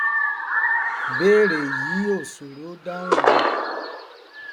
ìbéèrè yìí ò sòro dáhùn o